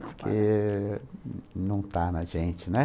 Porque não está na gente, né?